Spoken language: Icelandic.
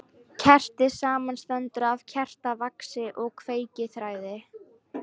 Kerti samanstendur af kertavaxi og kveikiþræði.